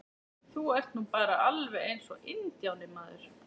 Þú ert nú bara alveg eins og INDJÁNI, maður!